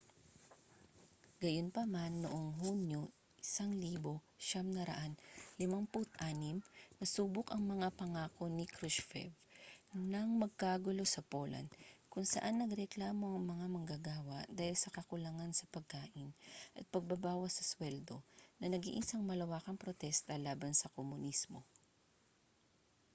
gayunpaman noong hunyo 1956 nasubok ang mga pangako ni krushchev nang magkagulo sa poland kung saan nagreklamo ang mga manggagawa dahil sa kakulangan sa pagkain at pagbabawas sa suweldo na naging isang malawakang protesta laban sa komunismo